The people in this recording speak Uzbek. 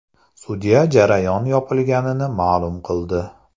Sudya jarayon yopilganini ma’lum qildi.